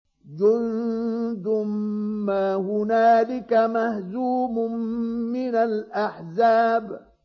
جُندٌ مَّا هُنَالِكَ مَهْزُومٌ مِّنَ الْأَحْزَابِ